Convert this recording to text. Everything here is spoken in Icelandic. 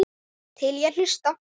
Til í að hlusta.